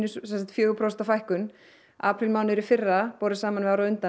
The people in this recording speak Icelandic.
fjögur prósent fækkun aprílmánuður í fyrra borið saman við árið á undan